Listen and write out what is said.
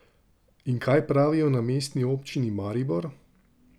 In kaj pravijo na Mestni občini Maribor?